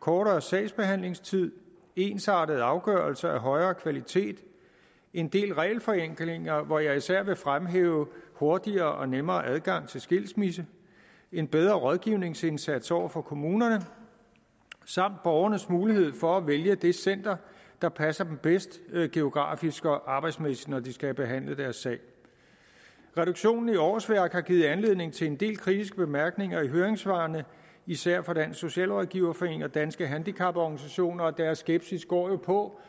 kortere sagsbehandlingstid ensartet afgørelse af højere kvalitet en del regelforenklinger hvor jeg især vil fremhæve hurtigere og nemmere adgang til skilsmisse en bedre rådgivningsindsats over for kommunerne samt borgernes mulighed for at vælge det center der passer dem bedst geografisk og arbejdsmæssigt når de skal have behandlet deres sag reduktionen i årsværk har givet anledning til en del kritiske bemærkninger i høringssvarene især fra dansk socialrådgiverforening og danske handicaporganisationer og deres skepsis går jo på